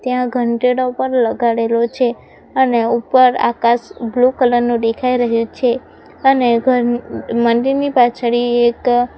ત્યાં ઘંટેડા ઉપર લગાડેલો છે અને ઉપર આકાશ બ્લુ કલર નું ડેખાય રહ્યું છે અને ઘર મંદિરની પાછડી એક --